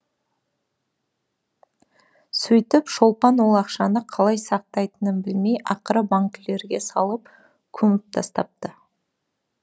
сөйтіп шолпан ол ақшаны қалай сақтайтынын білмей ақыры банкілерге салып көміп тастапты